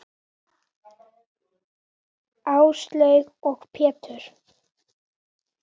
Áslaug og Pétur.